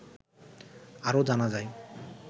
আরো জানা যায়